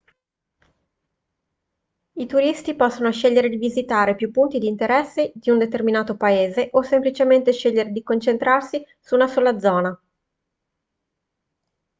i turisti possono scegliere di visitare più punti di interesse di un determinato paese o semplicemente scegliere di concentrarsi su una sola zona